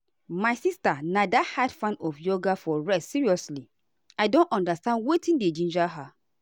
my sister na die-hard fan of yoga for rest seriously i don understand wetin dey ginger her.